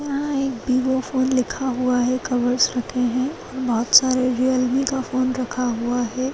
यहाँ एक Vivo phone लिखा हुआ है कवर्स रखे है बहुत सरे रेयलमी का फ़ोन रखा हुआ है।